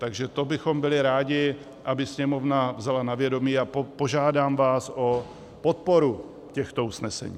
Takže to bychom byli rádi, aby Sněmovna vzala na vědomí, a požádám vás o podporu těchto usnesení.